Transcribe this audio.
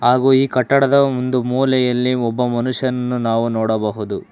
ಹಾಗು ಈ ಕಟ್ಟಡದ ಒಂದು ಮೂಲೆಯಲ್ಲಿ ಒಬ್ಬ ಮನುಷ್ಯನ್ನು ನಾವು ನೋಡಬಹುದು.